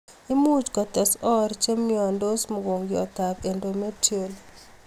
Imuch kotes oor che nyonyidai mogongiot ab endometrial